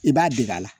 I b'a dege a la